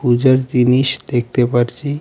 পূজার জিনিস দেখতে পারছি .